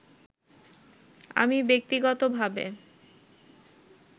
আমি ব্যক্তিগতভাবে